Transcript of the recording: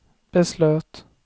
beslöt